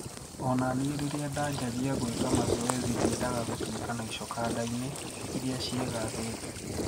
"Ona nie riria ndaanjagia guika mazoezi ndiendaga gutuika na icoka ndaaini iria ciigathete.